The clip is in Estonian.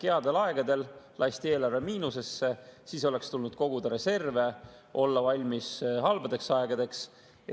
Headel aegadel lasti eelarve miinusesse, kuigi oleks tulnud koguda reserve, olla valmis halbadeks aegadeks.